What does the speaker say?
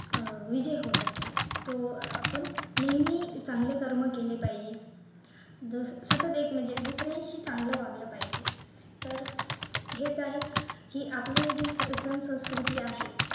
अह विजय होत असतो तो आपण नेहमी चांगलं कर्म केले पाहिजे सतत एक म्हणजे दुसऱ्यांशी चांगलं वागलं पाहिजे तर हे जे आहे की आपली जी सण संस्कृती आहे